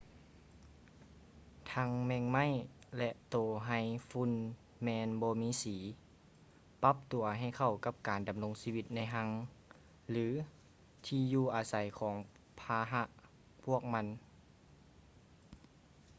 ທັງແມງໄມ້ ແລະ ໂຕໄຮຝຸ່ນແມ່ນບໍ່ມີສີ ປັບຕົວໃຫ້ເຂົ້າກັບການດຳລົງຊີວິດໃນຮັງ ຫຼື ທີ່ຢູ່ອາໄສຂອງພາຫະພວກມັນ